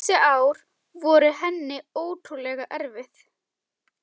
Þessi ár voru henni ótrúlega erfið.